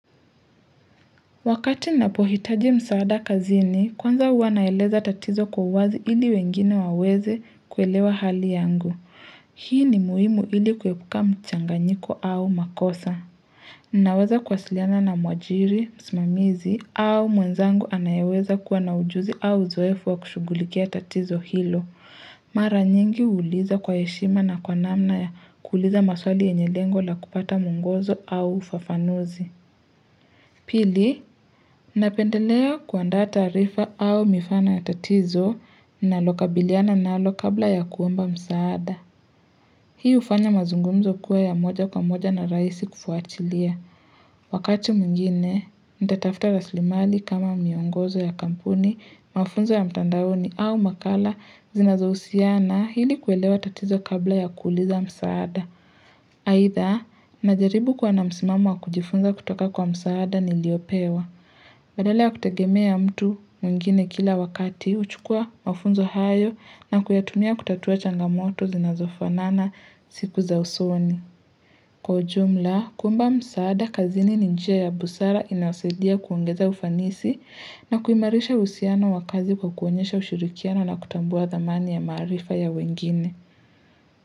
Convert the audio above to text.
Wakati napohitaji msaada kazini, kwanza huwa naeleza tatizo kwa uwazi ili wengine waweze kuelewa hali yangu. Hii ni muhimu ili kuepuka mchanganyiko au makosa. Naweza kwasiliana na mwajiri, msimamizi au mwenzangu anayeweza kuwa na ujuzi au uzoefu wa kushugulikia tatizo hilo. Mara nyingi uuliza kwa heshima na kwa namna ya kuuuliza maswali yenye lengo la kupata mwongozo au ufafanuzi. Pili, napendelea kuandaa taarifa au mifano ya tatizo nalokabiliana nalo kabla ya kuomba msaada. Hii ufanya mazungumzo kuwe ya moja kwa moja na raisi kufuatilia. Wakati mwingine, nitatafuta raslimali kama miongozo ya kampuni, mafunzo ya mtandauni au makala zinazousiana hili kuelewa tatizo kabla ya kuliza msaada. Aidha, najaribu kuwa na msimamo wa kujifunza kutoka kwa msaada niliopewa. Badala ya kutagemea mtu mwingine kila wakati, huchukua mafunzo hayo na kuyatumia kutatua changamoto zinazofanana siku za usoni. Kwa ujumla, kuomba msaada kazini ni njia ya busara inayosaidia kuongeza ufanisi na kuimarisha uhusiano wakazi kwa kuonyesha ushirikiano na kutambua thamani ya marifa ya wengine.